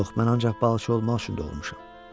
Yox, mən ancaq balıqçı olmaq üçün doğulmuşam.